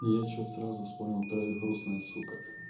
я что-то сразу вспомнил трою грустная сука